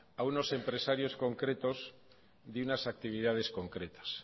a unos empresarios concretos de unas actividades concretas